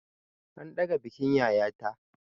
An ɗaga bikin yayata.